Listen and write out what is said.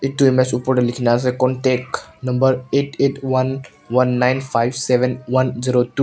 etu night super te lekhi kina ase contact number eight eight one one nine five seven one zero two --